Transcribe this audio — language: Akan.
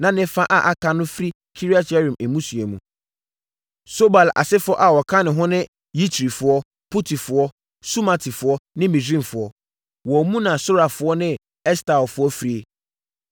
na ne fa a aka no firi Kiriat-Yearim mmusua mu. Sobal asefoɔ a wɔka ho ne Yitrifoɔ, Putifoɔ, Sumatifoɔ ne Misraimfoɔ. Wɔn mu na Sorafoɔ ne Estaolfoɔ firie.